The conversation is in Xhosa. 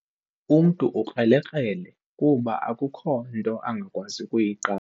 Umntu ukrelekrele kuba akukho nto angakwazi kuyiqamba.